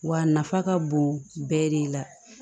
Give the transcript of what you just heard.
Wa a nafa ka bon bɛɛ de la